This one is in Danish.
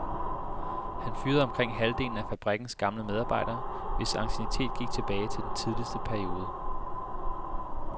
Han fyrede omkring halvdelen af fabrikkens gamle medarbejdere, hvis anciennitet gik tilbage til den tidligste periode.